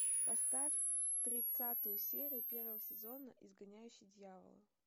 поставь тридцатую серию первого сезона изгоняющий дьявола